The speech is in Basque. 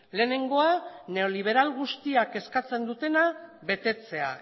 lehenengoa neoliberal guztiek eskatzen dutena betetzea